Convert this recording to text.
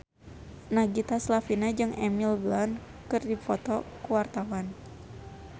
Nagita Slavina jeung Emily Blunt keur dipoto ku wartawan